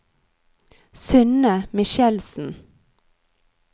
Synne Michelsen